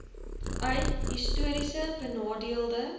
uit histories benadeelde